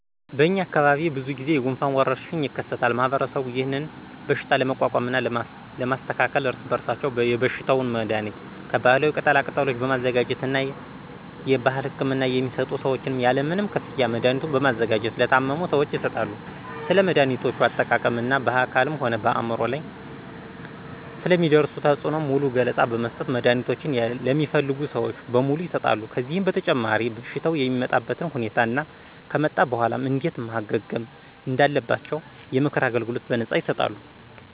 በእኛ አካባቢ ብዙ ጊዜ የጉንፋን ወረርሽኝ የከሰታል ማህበረሰቡም ይህንን በሽታ ለመቋቋምና ለማስተካከል እርስ በራሳቸው የበሽታውን መድሀኒት ከባህላዊ ቅጠላ ቅጠሎች በማዘጋጀት እና የባህል ህክምና የሚሰጡ ሰዎችም ያለምንም ክፍያ መድሀኒቱን በማዘጋጀት ለታመሙ ሰዎች ይሰጣሉ። ስለ መድሀኒቶች አጠቃቀም እና በአካልም ሆነ በአምሮ ላይ ስለሚያደርሱት ተፅእኖ ሙሉ ገለፃ በመስጠት መድሀኒቶችን ለሚፈልጉ ሰዎች በሙሉ ይሠጣሉ። ከዚህም በተጨማሪ በሽታው የሚመጣበትን ሁኔታ እና ከመጣ በኋላም እንዴት ማገገም እንዳለባቸው የምክር አገልግሎት በነፃ ይሰጣሉ።